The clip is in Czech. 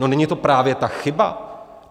No, není to právě ta chyba?